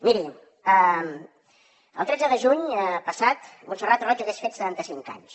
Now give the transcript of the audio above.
miri el tretze de juny passat montserrat roig hagués fet setanta cinc anys